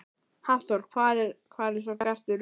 Hafþór: Hvað er svo gert við ruslið?